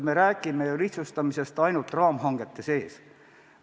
Me räägime ju lihtsustamisest ainult raamhangete sees.